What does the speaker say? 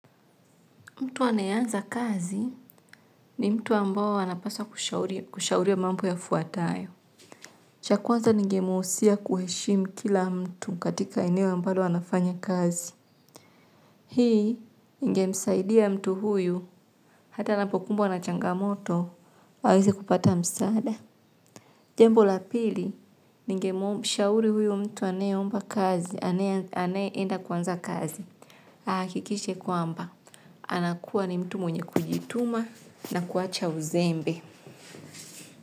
Mtu anayeanza kazi ni mtu ambao anapasa kushauriwa mambo yafuatayo. Cha kwanza ningemuhusia kuheshimu kila mtu katika eneo ambalo anafanya kazi. Hii ingemsaidia mtu huyu hata anapokumbwa na changamoto aweze kupata msaada. Jambo la pili, ningemshauri huyo mtu anaye omba kazi. Anaye enda kuanza kazi. Ahakikishe kwamba, anakuwa ni mtu mwenye kujituma na kuacha uzembe.